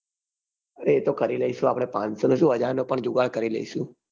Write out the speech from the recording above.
અરે અતો કરી લઈસુ આપડે. પાનસો નો સુ હાજર નો પણ જુગાડ કરી લઈસુ.